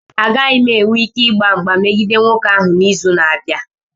Agaghị m enwe ike ịgba mgba megide nwoke ahụ n'izu na-abịa.